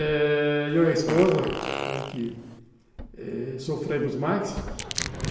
Eh... eu e a esposa que sofremos mais.